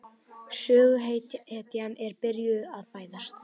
Söguhetjan er byrjuð að fæðast.